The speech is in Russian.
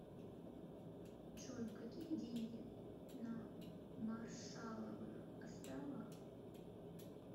джой какие деньги на маршалловых островах